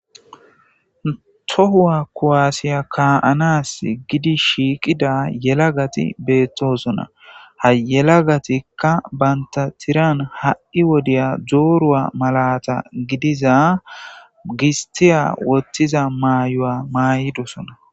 Tohuwa kuwasiya kaa7anasi giidi shhiqida yelagati beetoosona. Ha yelagatikka bantta tiran ha77i wodiyan dooruwa maalata bessiya gisttiya shurabiya maayidoosona.